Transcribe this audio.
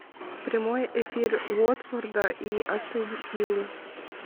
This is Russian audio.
прямой эфир уотфорда и астон виллы